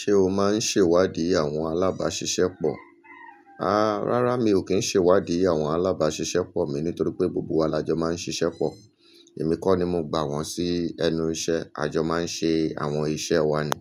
Ṣé o máa ń ṣe ìwádìí àwọn alábàáṣiṣẹ́ pọ̀? A, rárá mi ò kí ń ṣe ìwádìí àwọn alábáàṣiṣẹ́ pọ̀ mi nítorí pé gbogbo wa lajọ máa ń ṣiṣẹ́ pọ̀. Èmi kọ́ ni mo gba wọn sí ẹnu iṣẹ́. Àjọ máa ń ṣe àwọn iṣẹ́ wa ni.